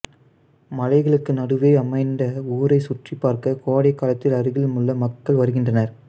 மலைகளுக்கு நடுவே அமைந்த ஊரை சுற்றிபார்க்க கோடைக்காலத்தில் அருகில் உள்ள மக்கள் வருகின்றனர்